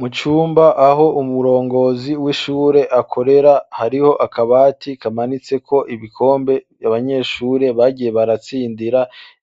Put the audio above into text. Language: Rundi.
Mu cumba aho umurongozi w'ishure akorera hariho akabati kamanitseko ibikombe abanyeshure bagiye baratsindira